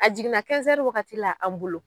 A jiginna wagati la an bolo